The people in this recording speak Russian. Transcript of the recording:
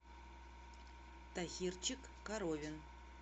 тахирчик коровин